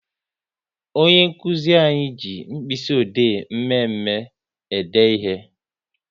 Onye nkụzi anyị ji mkpịsị ode mme mme e de ihe